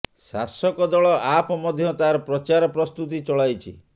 ଶାସକ ଦଳ ଆପ୍ ମଧ୍ୟ ତାର ପ୍ରଚାର ପ୍ରସ୍ତୁତି ଚଳାଇଛି